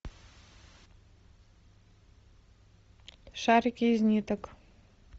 шарики из ниток